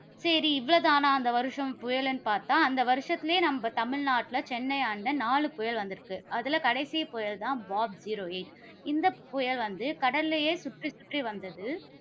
சரி இவ்வளவு தானா அந்த வருஷம் புயலுன்னு பார்த்தா, அந்த வருஷத்துலயே நம்ம தமிழ்நாட்டில, சென்னையாண்ட நாலு புயல் வந்திருக்கு. அதுல கடைசி புயல் தான் பாப் zero eight இந்த புயல் வந்து கடலிலேயே சுற்றி சுற்றி வந்தது.